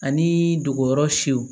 Ani dogoyɔrɔ fiyew